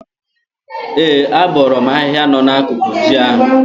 Ee, abọọrọ m ahịhịa nọ n'akụkụ ji ahụ.